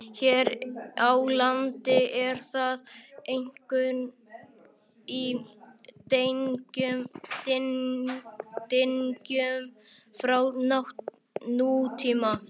Hér á landi er það einkum í dyngjum frá nútíma.